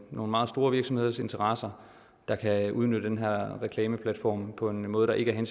nogle meget store virksomheders interesser der kan udnytte den her reklameplatform på en måde der ikke er